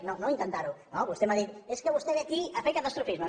no d’intentarho no vostè m’ha dit és que vostè ve aquí a fer catastrofisme